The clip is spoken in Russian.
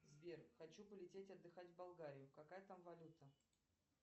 сбер хочу полететь отдыхать в болгарию какая там валюта